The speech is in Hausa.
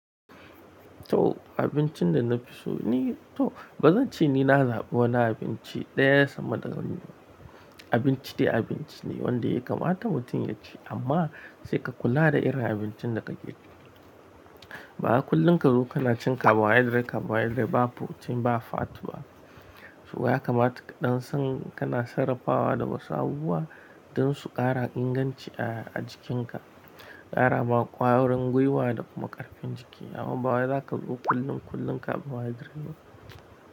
To abincin da na fi so ni to ba zan ce ni na zaɓi wani abinci ɗaya ba sama da wani abinci dai abinci ne wanda ya kamata mutum ya ci amma sai ka kula da irin abincin da kake ci. Ba kullum ka zo kana cin carbohydrate, carbohydrate ba protein ba fat ba. To ya kamata kaɗan san kana sarrafawa da wasu abubuwa don su ƙara inganci a jikinka, ƙara ma ƙwarin gwiwa da kuma ƙarfin jiki. Amma ba za ka zo kullum kullum carbohydrate ba.